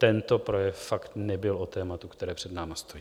Tento projev fakt nebyl o tématu, které před námi stojí.